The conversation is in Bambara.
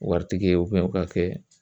Waritigi ye o ka kɛ